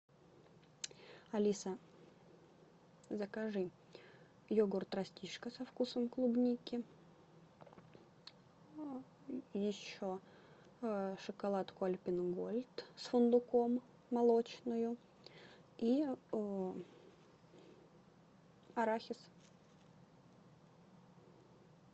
алиса закажи йогурт растишка со вкусом клубники еще шоколадку альпен гольд с фундуком молочную и арахис